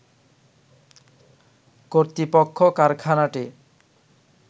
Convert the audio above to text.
কর্তৃপক্ষ কারখানাটি